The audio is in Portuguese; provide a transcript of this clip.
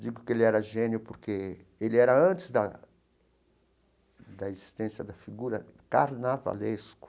Digo que ele era gênio porque ele era, antes da da existência da figura, carnavalesco.